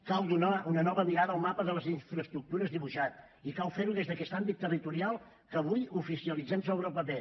cal donar una nova mirada al mapa de les infraestructures dibuixat i cal fer ho des d’aquest àmbit territorial que avui oficialitzem sobre el paper